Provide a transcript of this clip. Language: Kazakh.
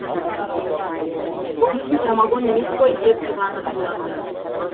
бұл біздің самогон емес қой деп иван ашуланды